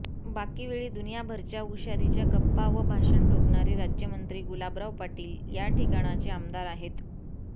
बाकीवेळी दुनियाभरच्या हुशारीच्या गप्पा व भाषण ठोकणारे राज्यमंत्री गुलाबराव पाटील या ठिकाणचे आमदार आहेत